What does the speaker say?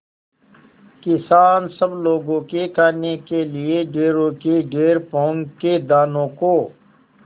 किसान सब लोगों के खाने के लिए ढेरों के ढेर पोंख के दानों को